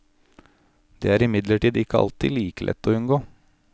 Det er imidlertid ikke alltid like lett å unngå.